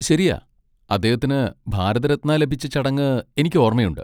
ശരിയാ, അദ്ദേഹത്തിന് ഭാരത് രത്ന ലഭിച്ച ചടങ്ങ് എനിക്ക് ഓർമ്മയുണ്ട്.